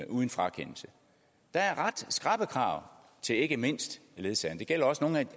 uden frakendelse der er ret skrappe krav til ikke mindst ledsagerne det gælder også nogle